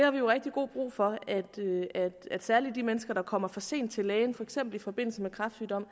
jo rigtig god brug for at særlig de mennesker der kommer for sent til lægen for eksempel i forbindelse med kræftsygdomme